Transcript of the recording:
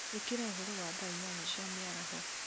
ĩkĩra ũhoro wa thaa inyanya cia mĩaraho